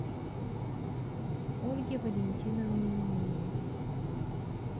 ольге валентиновне минеевой